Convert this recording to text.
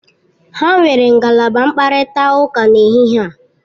Ha nwere ngalaba mkparịta ụka n'ehihie a.